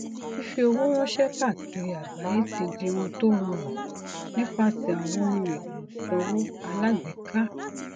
fífi owó ranṣẹ káàkiri agbaye ti di ohun tó rọrùn nípasẹ àwọn ohun èlò ìsanwó alágbèéka